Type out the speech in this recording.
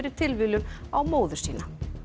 tilviljun á móður sína